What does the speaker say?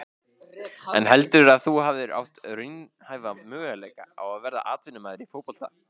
En heldurðu að þú hefðir átt raunhæfa möguleika á að verða atvinnumaður í fótbolta?